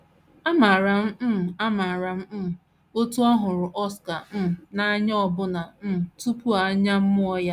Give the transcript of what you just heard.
Amaara m um Amaara m um otú ọ hụruru Oscar um n’anya ọbụna um tupu a mụọ ya.